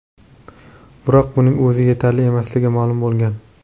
Biroq buning o‘zi yetarli emasligi ma’lum bo‘lgan.